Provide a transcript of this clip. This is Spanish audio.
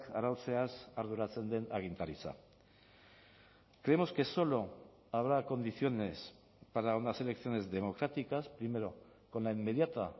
arautzeaz arduratzen den agintaritza creemos que solo habrá condiciones para unas elecciones democráticas primero con la inmediata